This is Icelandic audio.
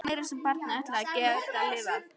Það var nú meira sem barnið ætlaði að geta lifað.